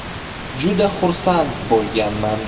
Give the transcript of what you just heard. Juda xursand bo‘lganman.